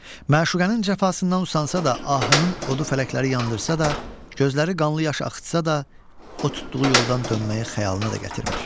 Məşuqənin cəfasından usansa da, ahının odu fələkləri yandırsa da, gözləri qanlı yaş axıtsa da, o tutduğu yoldan dönməyi xəyalına da gətirmir.